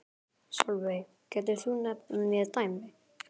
Sólveig: Getur þú nefnt mér dæmi?